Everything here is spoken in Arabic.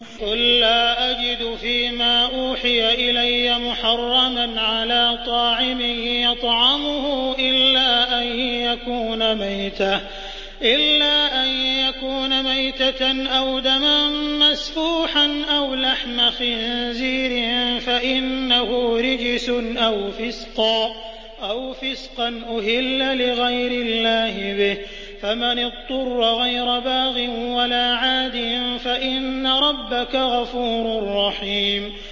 قُل لَّا أَجِدُ فِي مَا أُوحِيَ إِلَيَّ مُحَرَّمًا عَلَىٰ طَاعِمٍ يَطْعَمُهُ إِلَّا أَن يَكُونَ مَيْتَةً أَوْ دَمًا مَّسْفُوحًا أَوْ لَحْمَ خِنزِيرٍ فَإِنَّهُ رِجْسٌ أَوْ فِسْقًا أُهِلَّ لِغَيْرِ اللَّهِ بِهِ ۚ فَمَنِ اضْطُرَّ غَيْرَ بَاغٍ وَلَا عَادٍ فَإِنَّ رَبَّكَ غَفُورٌ رَّحِيمٌ